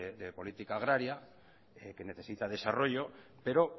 de política agraria que necesita desarrollo pero